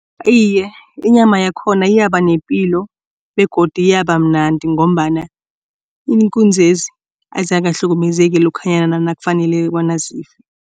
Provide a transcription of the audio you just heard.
Iye, inyama yakhona iyaba nepilo begodu iyabamnandi ngombana iinkunzezi azikahlukumezeki lokhanyana nakufanele